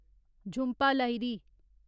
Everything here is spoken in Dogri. झुंपा लाहिरी